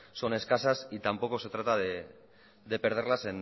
son escasas y tampoco se trata de perderlas